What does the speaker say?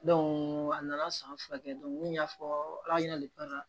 a nana san fila kɛ n y'a fɔ ala ɲɛna de banna